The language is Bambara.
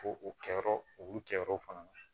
Ko o kɛ yɔrɔ olu kɛyɔrɔ fana na